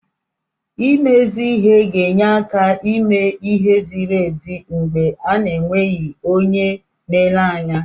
Ime ezi ihe ga-enye áká ime ihe ziri ezi mgbe a na-enweghị onye na-ele anya.